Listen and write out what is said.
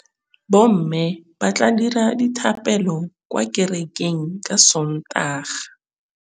Bommê ba tla dira dithapêlô kwa kerekeng ka Sontaga.